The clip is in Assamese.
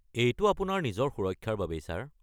এইটো আপোনাৰ নিজৰ সুৰক্ষাৰ বাবেই, ছাৰ।